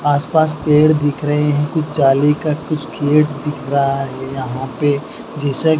आस-पास पेड़ दिख रहे है कुछ जाली का कुछ खेत दिख रहा है यहां पे जैसे --